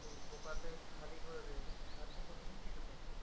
সেই পোকাতে খালি করে দিয়ে দেয় গাছটা কতক্ষন টিকে থাকবে